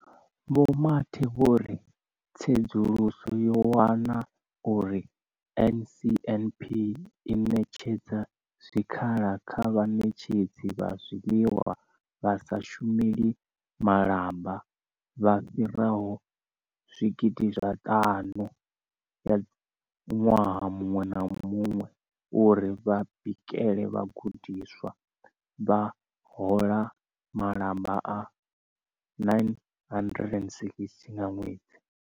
Vho Mathe vho ri tsedzuluso yo wana uri NSNP i ṋetshedza zwikhala kha vhaṋetshedzi vha zwiḽiwa vha sa shumeli malamba vha fhiraho 50 000 ṅwaha muṅwe na muṅwe uri vha bikele vhagudiswa, vha hola malamba a R960 nga ṅwedzi.